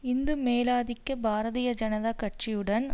இந்து மேலாதிக்க பாரதிய ஜனதா கட்சியுடன்